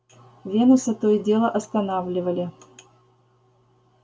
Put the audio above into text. венуса то и дело останавливали